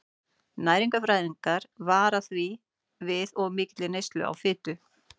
Næringarfræðingar vara því við of mikilli neyslu á fitu.